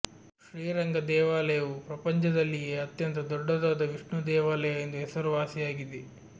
ಶ್ರೀ ರಂಗ ದೇವಾಲಯವು ಪ್ರಪಂಚದಲ್ಲಿಯೇ ಅತ್ಯಂತ ದೊಡ್ಡದಾದ ವಿಷ್ಣು ದೇವಾಲಯ ಎಂದು ಹೆಸರುವಾಸಿಯಾಗಿದೆ